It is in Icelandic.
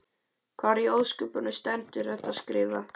Hvar í ósköpunum stendur þetta skrifað?